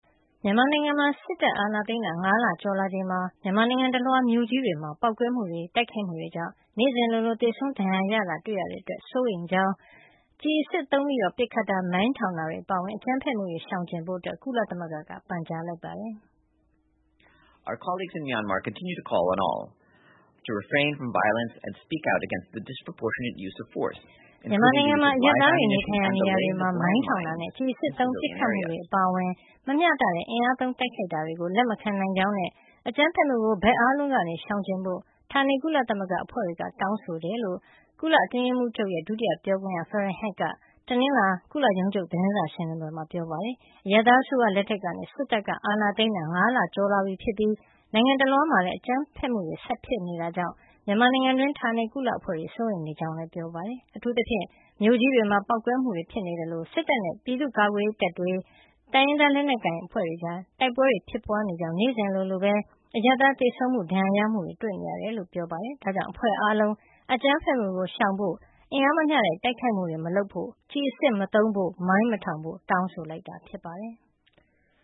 မြန်မာနိုင်ငံမှာ စစ်အာဏာသိမ်းတာ ၅ လ ကျော်လာချိန်မှာ မြန်မာနိုင်ငံတလွှားမြို့ကြီးတွေမှာ ပေါက်ကွဲမှုတွေ တိုက်ခိုက်မှုတွေကြောင့် နေ့စဉ်လိုလို သေဆုံးဒဏ်ရာရနေတာတွေ့နေရတဲ့ အတွက် စိုးရိမ်နေကြောင်းနဲ့ ကျည်အစစ်သုံးပစ်ခတ်တာ၊ မိုင်းထောင်တာတွေ အပါအဝင် အကြမ်းဖက်မှုတွေ ရှောင်ကြဉ်ကြဖို့ ကုလသမဂ္ဂက ပန်ကြားလိုက်ပါတယ်။ "မြန်မာနိုင်ငံမှာ အရပ်သားတွေ နေထိုင်ရာ နေရာတွေမှာ မိုင်းထောင်တာနဲ့ ကျည်အစစ်သုံး ပစ်ခတ်မှု အပါအဝင် မမျှတတဲ့ အင်အားသုံး တိုက်ခိုက်တာကို လက်မခံနိုင်ကြောင်းနဲ့ အကြမ်းဖက်မှုကို ဘက်အားလုံးက ရှောင်ကြဉ်ကြဖို့ ဌာနေကုလသမဂ္ဂအဖွဲ့တွေက တောင်းဆိုကြောင်း" ကုလအတွင်းရေးမှုးချုပ်ရဲ့ ဒုတိယပြောခွင့်ရ Farhan Haq က တနင်္လာနေ့ ကုလရုံးချုပ် သတင်းစာရှင်းလင်းပွဲမှာ ပြောပါတယ်။ အရပ်သား အစိုးရလက်ကနေ စစ်တပ်က အာဏာသိမ်းတာ ၅ လကျော်လာပြီဖြစ်ပြီး နိုင်ငံတလွှားမှာလည်း အကြမ်းဖက်မှုတွေက ဆက်ပြီး ဖြစ်ပွါးနေတာကြောင့် မြန်မာနိုင်ငံတွင်းမှာ ရှိတဲ့ ဌာနေကုလအဖွဲ့တွေဟာ စိုးရိမ်နေကြကြောင်းလည်း ပြောပါတယ်။ အထူးသဖြင့် မြို့ကြီးတွေမှာ ပေါက်ကွဲမှုတွေ ဖြစ်ပွါးနေသလို စစ်တပ်နဲ့ ပြည်သူ့ကာကွယ်ရေးတပ်တွေ၊ တိုင်းရင်းသား လက်နက်ကိုင်အဖွဲ့တွေကြား တိုက်ပွဲတွေ ဖြစ်ပွါးနေကြောင်းနဲ့ နေ့စဉ်လိုလိုပဲ အရပ်သား သေဆုံးမှုတွေ ဒဏ်ရာရမှုတွေပါ တွေ့နေရတယ်လို့ပြောပါတယ်။ ဒါ့ကြောင့် အဖွဲ့အားလုံးက အကြမ်းဖက်မှုကို ရှောင်ကြဉ်ဖို့ အင်အားမမျှတဲ့ တိုက်ခိုက်မှုတွေ မလုပ်ဖို့ ကျည်အစစ်မသုံးဖို့ မိုင်းမထောင်ဖို့ တောင်းဆိုလိုက်တာ ဖြစ်ပါတယ်။